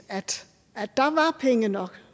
at der var penge nok